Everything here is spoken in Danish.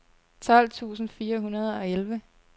tolv tusind fire hundrede og elleve